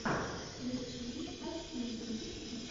включи окейюш